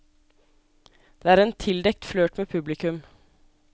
Det er en tildekt flørt med publikum.